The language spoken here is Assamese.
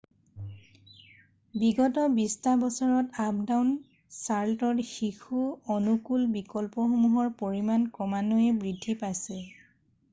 বিগত 20 টা বছৰত আপটাউন চাৰ্ল'টত শিশু অনুকূল বিকল্পসমূহৰ পৰিমান ক্ৰমান্বয়ে বৃদ্ধি পাইছে